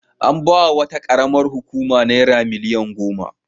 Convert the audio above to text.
An ba wa wata ƙaramar hukuma naira biliyan goma.